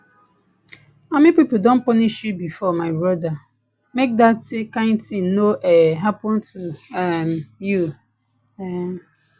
army pipu don punish you before my broda make dat kind tin no um happen to um you um